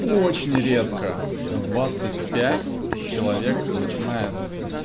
очень редко в двадцать пять человек начинает